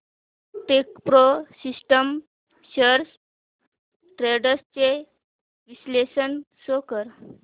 Techpro systems shares trends चे विश्लेषण show कर